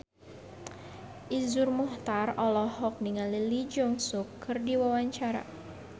Iszur Muchtar olohok ningali Lee Jeong Suk keur diwawancara